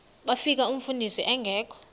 bafika umfundisi engekho